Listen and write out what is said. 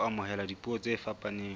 ho amohela dipuo tse fapaneng